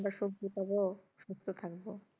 আমরা সবজি পাবো সুস্থ থাকবো